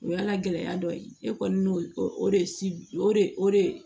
O y'ala gɛlɛya dɔ ye e kɔni n'o o de o de o de